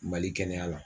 Mali kɛnɛya la